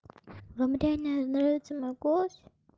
вам реально нравится могу